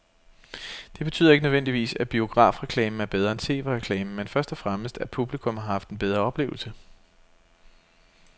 Det betyder ikke nødvendigvis, at biografreklamen er bedre end tv-reklamen, men først og fremmest at publikum har haft en bedre oplevelse.